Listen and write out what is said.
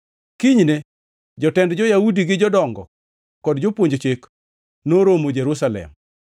Kinyne, jotend jo-Yahudi gi jodongo kod jopuonj Chik noromo Jerusalem.